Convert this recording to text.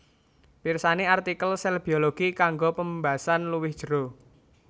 Pirsani artikel sèl biologi kanggo pembasan luwih jero